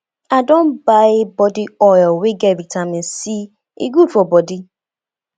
i don buy body oil wey get vitamin c e good for bodi